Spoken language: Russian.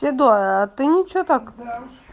седой а ты ничего так